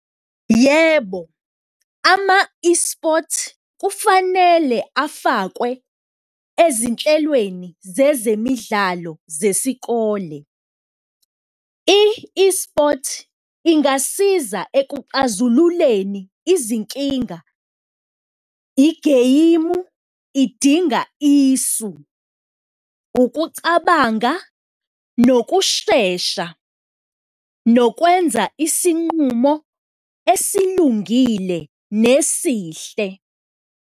Yebo, ama-esports kufanele afakwe ezinhlelweni zezemidlalo zesikole. I-esports ingasiza ekuxazululeni izinkinga, igeyimu idinga isu, ukucabanga nokushesha nokwenza isinqumo esilungile nesihle.